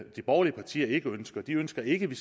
de borgerlige partier ikke ønsker de ønsker ikke at vi